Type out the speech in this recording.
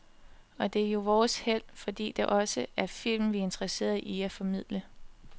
Og det er jo vores held, fordi det også er film vi er interesserede i at formidle.